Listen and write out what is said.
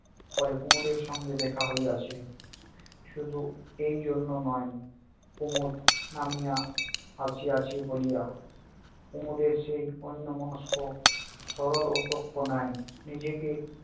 পরে কুমদের সঙ্গে দেখা হইয়াছে। শুধু এইজন্য নয় কুমদ নামিয়া আসি আসি বলিয়া কুমদের সেই অন্য মনস্ক সরল ও সূক্ষ্ম নাই, নিজেকে